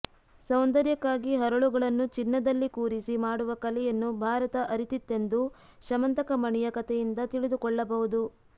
ಸೌಂದರ್ಯಕ್ಕಾಗಿ ಹರಳುಗಳನ್ನು ಚಿನ್ನದಲ್ಲಿ ಕೂರಿಸಿ ಮಾಡುವ ಕಲೆಯನ್ನು ಭಾರತ ಅರಿತಿತ್ತೆಂದು ಶಮಂತಕಮಣಿಯ ಕಥೆಯಿಂದ ತಿಳಿದುಕೊಳ್ಳಬಹುದು